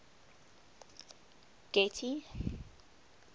getty